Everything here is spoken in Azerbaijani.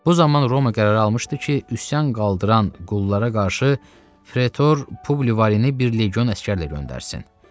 Bu zaman Roma qərarı almışdı ki, üsyan qaldıran qullara qarşı Pretor Publivareni bir legion əsgərlə göndərsin.